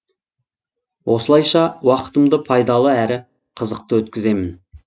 осылайша уақытымды пайдалы әрі қызықты өткіземін